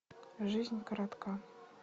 жизнь коротка